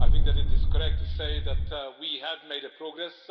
I think that it is correct to say that we have made progress.